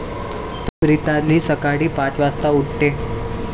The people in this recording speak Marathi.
प्रिताली सकाळी पाच वाजता उठते.